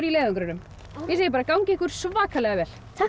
í leiðangrinum ég segi bara gangi ykkur svakalega vel takk